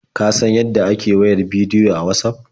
Ka san yadda ake wayar bidiyo a Watsaf?